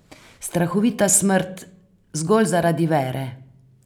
Strahovita smrt zgolj zaradi vere!